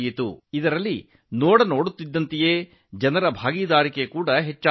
ಇದರಲ್ಲಿ ಸಾರ್ವಜನಿಕರು ಭಾಗವಹಿಸಿದ್ದು ಕಣ್ಮನ ಸೆಳೆಯುವಂತಿತ್ತು